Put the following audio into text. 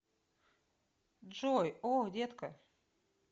джой о детка